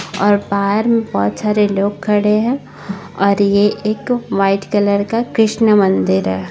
और बाहर मे बहुत सारे लोग खड़े है और ये एक व्हाइट कलर का कृष्ण मंदिर है।